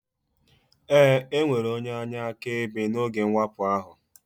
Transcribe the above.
Ee, enwere onye anya akaebe n'oge mwakpo ahụ